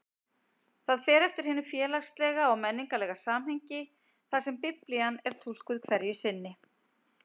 Það fer eftir hinu félagslega og menningarlega samhengi þar sem Biblían er túlkuð hverju sinni.